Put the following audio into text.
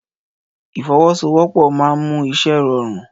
Ìfọwọ́sowọ́pọ̀ náà máa ń mú iṣẹ́ rọrùn